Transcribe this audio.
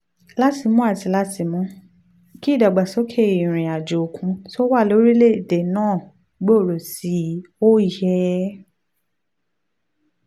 láti mú láti mú kí ìdàgbàsókè ìrìn àjò òkun tó wà lórílẹ̀-èdè náà gbòòrò sí i ó yẹ